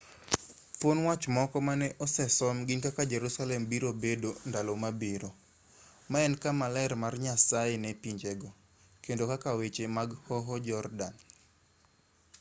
thuon wach moko ma ne osesom gin kaka jerusalem birobedo ndalo mabiro ma en kamaler mar nyasaye ne pinjego kendo nyaka weche mag hoho jordan